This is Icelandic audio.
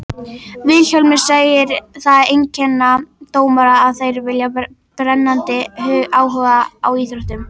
Vilhjálmur segir það einkenna dómara að þeir hafi brennandi áhuga á íþróttinni.